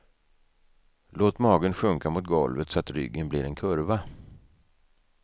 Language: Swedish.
Låt magen sjunka mot golvet så att ryggen blir en kurva.